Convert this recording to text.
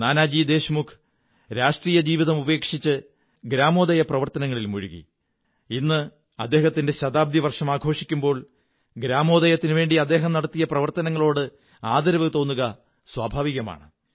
നാനാജി ദേശ്മുഖ് രാഷ്ട്രീയ ജീവിതം ഉപേക്ഷിച്ച് ഗ്രാമോദയപ്രവര്ത്ത്നത്തിൽ മുഴുകി ഇന്ന് അദ്ദേഹത്തിന്റെ ശതാബ്ദി വര്ഷംക ആഘോഷിക്കുമ്പോൾ ഗ്രാമോദയത്തിനുവേണ്ടി അദ്ദേഹം നടത്തിയ പ്രവര്ത്തേനങ്ങളോട് ആദരവു തോന്നുക സ്വാഭാവികമാണ്